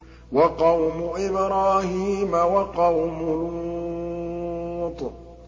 وَقَوْمُ إِبْرَاهِيمَ وَقَوْمُ لُوطٍ